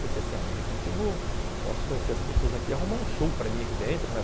Pensei assim, ah, de repente eu vou, posso conhecer as pessoas aqui, arrumar um show para mim aqui dentro, né?